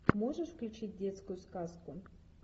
можешь включить детскую сказку